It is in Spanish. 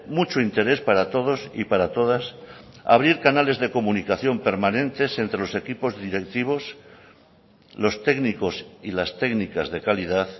mucho interés para todos y para todas abrir canales de comunicación permanentes entre los equipos directivos los técnicos y las técnicas de calidad